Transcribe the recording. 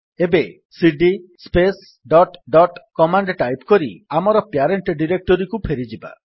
ଏବେ CD space dot dot command type କରି ଆମର ପ୍ୟାରେଣ୍ଟ୍ ଡିରେକ୍ଟୋରୀକୁ ଫେରିଯିବା